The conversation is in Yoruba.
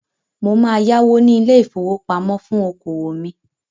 Mo máa yáwó ní ilé-ìfowópamọ́ fún okòwò mi.